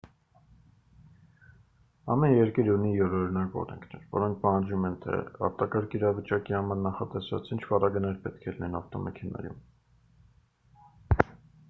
ամեն երկիր ունի յուրօրինակ օրենքներ որոնք պահանջում են թե արտակարգ իրավիճակի համար նախատեսված ինչ պարագաներ պետք է լինեն ավտոմեքենայում